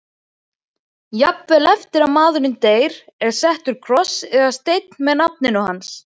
Jafnvel eftir að maðurinn deyr er settur kross eða steinn með nafninu hans.